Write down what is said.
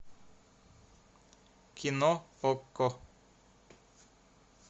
кино окко